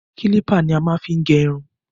Kílípà ni a fí máa ń gẹ irun.